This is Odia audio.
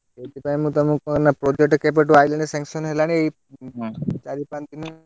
ସେଇଥି ପାଇଁ ମୁଁ ତୁମକୁ କୁହେନା project କେବେଠୁ ଆଇଲାଣି sanction ହେଲାଣି ଏଇ ଚାରି ପାଞ୍ଚଦିନ,